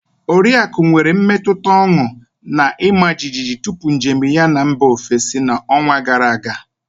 Oriaku nwere mmetụta ọñụ na ịma jijiji tupu njem ya na mba ofesi na ọnwa gara aga